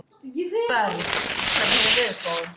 Berg, hvernig er veðurspáin?